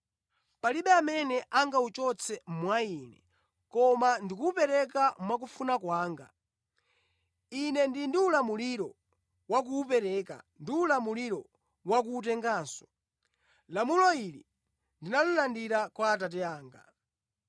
Palibe amene angawuchotse mwa Ine, koma ndikuwupereka mwakufuna kwanga. Ine ndili ndi ulamuliro wa kuwupereka ndi ulamuliro wakuwutenganso. Lamulo ili ndinalandira kwa Atate anga.”